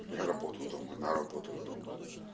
я работаю дома она работает дома